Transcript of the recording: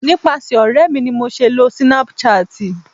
nipasẹ ọrẹ mi ni mo se le lo Snapchat